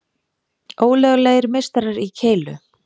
Ólöglegir meistarar í keilu